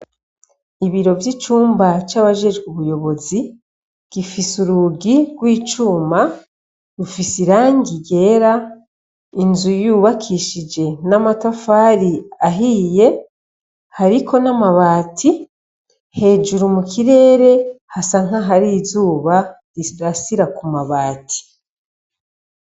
Ibiro bw’icumba cabajejwe ubuyobozi, gifis’urugi gw’icuma , rufis’irangi ryera, Inzu yubakishije n’amatafari ahiye hariko n’amabati hejuru mukirere hasa nkahar’izuba rirasira kumabati.